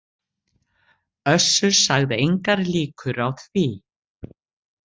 Össur sagði engar líkur á því